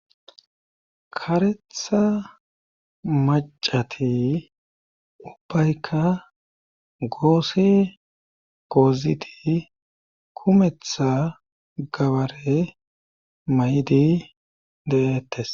karetha macati ubbaykka goossi goozidi kumetha gabare may7idi deettes